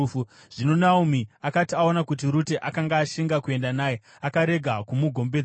Zvino Naomi akati aona kuti Rute akanga ashinga kuenda naye, akarega kumugombedzera.